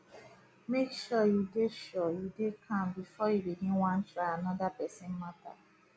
mek sure yu dey sure yu dey calm bifor you begin wan try anoda pesin mata